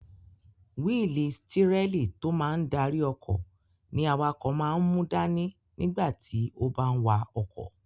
Wíìlì stírẹ́lì tó máa n darí ọkọ̀ ní awakọ̀ máa n mú dání nígbà tí ó bá n wa ọkọ̀